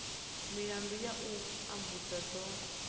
milandu ya u tambudzwa dzo